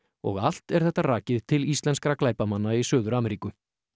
og allt er þetta rakið til íslenskra glæpamanna í Suður Ameríku